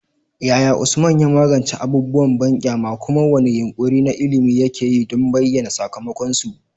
Yaya Usman ya magance abubuwan banƙyama, kuma wane yunƙuri na ilimi yake yi don bayyana sakamakonsu?